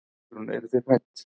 Guðrún: Eruð þið hrædd?